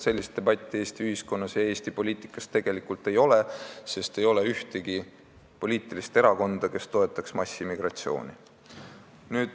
Sellist debatti Eesti ühiskonnas ega Eesti poliitikas tegelikult ei ole, sest ei ole ühtegi poliitilist erakonda, kes massimigratsiooni toetaks.